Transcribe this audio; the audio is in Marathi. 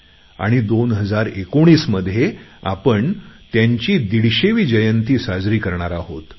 आणि 2019 मध्ये आपण त्यांची दीडशेवी जयंती साजरी करणार आहोत